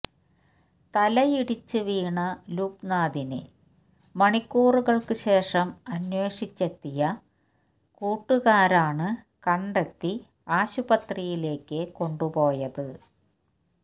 തലയിടിച്ച് വീണ ലുബ്നാഥിനെ മണിക്കൂറുകള്ക്ക് ശേഷം അന്വേഷിച്ചെത്തിയ കൂട്ടകാരാണ് കണ്ടെത്തി ആശുപത്രിയിലേക്ക് കൊണ്ടുപോയത്